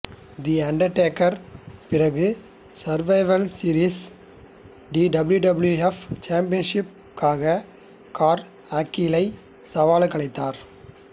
தி Undertaker பிறகு Survivor சீரிஸில் WWF சாம்பியன்ஷிப்பிற்காக கர்ட் ஆங்கிளை சவாலுக்கழைத்தார்